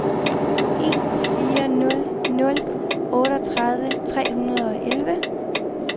en fire nul nul otteogtredive tre hundrede og elleve